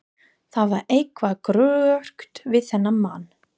Það var eitthvað gruggugt við þennan mann.